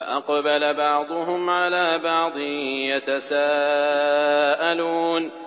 فَأَقْبَلَ بَعْضُهُمْ عَلَىٰ بَعْضٍ يَتَسَاءَلُونَ